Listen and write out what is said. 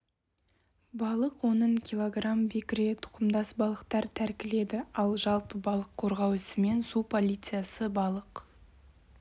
балық оның кг бекіре тұқымдас балықтар тәркіледі ал жалпы балық қорғау ісімен су полициясы балық